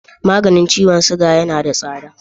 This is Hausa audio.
Maganin ciwon suga yana da tsada.